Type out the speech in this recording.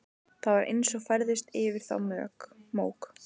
Það var eins og færðist yfir þá mók.